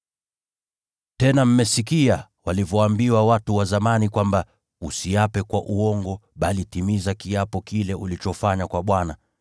“Tena mmesikia walivyoambiwa watu wa zamani kwamba, ‘Usiape kwa uongo, bali timiza kiapo kile ulichofanya kwa Bwana.’